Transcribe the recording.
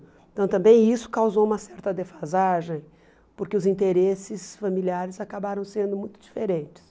Então também isso causou uma certa defasagem, porque os interesses familiares acabaram sendo muito diferentes.